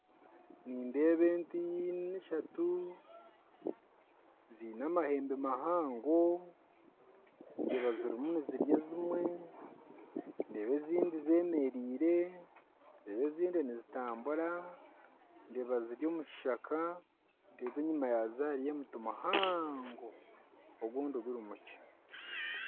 Nindeeba ente ishatu zaine amahembe mahango ndeeba ezimwe zirimu nizirya ndeeba ezindi zemereire ndeeba ezindi nizitambura ndeeba ziri omu kishaka ndeeba enyuma yaazo hariyo omuti muhango ogundi guri mukye